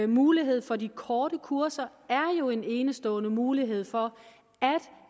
mulighed for de korte kurser er jo en enestående mulighed for at